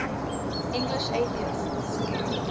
english atheists